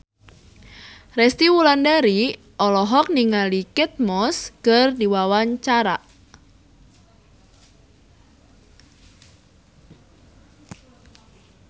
Resty Wulandari olohok ningali Kate Moss keur diwawancara